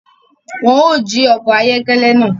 Wọn ò jí ọkọ ayọkẹlẹ náà